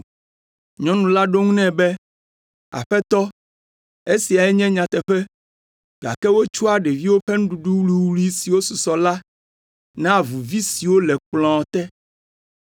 Nyɔnu la ɖo eŋu nɛ be, “Aƒetɔ, esia nye nyateƒe, gake wotsɔa ɖeviwo ƒe nuɖuɖu wuwlui si susɔ la naa avuvi siwo le kplɔ̃ te.”